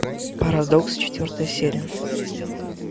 парадокс четвертая серия